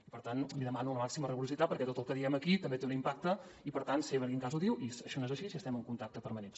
i per tant li demano la màxima rigorositat perquè tot el que diem aquí també té un impacte i per tant sé per quin cas ho diu i això no és així i estem en contacte permanent